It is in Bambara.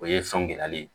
O ye sɔn gilali ye